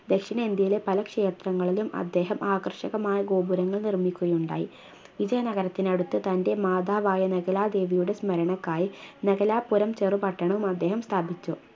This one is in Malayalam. ദക്ഷിണേന്ത്യയിലെ പല ക്ഷേത്രങ്ങളിലും അദ്ദേഹം ആകർഷകമായ ഗോപുരങ്ങൾ നിർമ്മിക്കുകയുണ്ടായി വിജയ നഗരത്തിനടുത്ത് തൻറെ മാതാവായ നഗലാ ദേവിയുടെ സ്മരണക്കായി നഗലാ പുരം ചെറുപട്ടണം അദ്ദേഹം സ്ഥാപിച്ചു